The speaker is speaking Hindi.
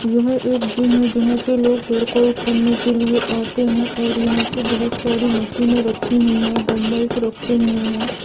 यह एक जिम है जहाँ पे लोग वर्कआउट करने के लिए आते है और यहां पे बहुत सारी मशीने रखी हुई है डंबल्स रखे हुए है।